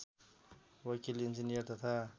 वकिल इन्जिनियर तथा